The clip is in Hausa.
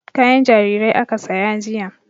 Kayan jarirai aka saya jiya.